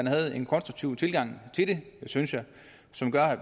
havde en konstruktiv tilgang til det synes jeg som gør at